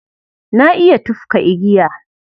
Na iya tufka igiya.